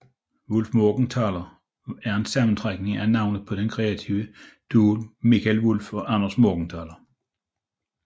Wullfmorgenthaler er en sammentrækning af navnene på den kreative duo Mikael Wulff og Anders Morgenthaler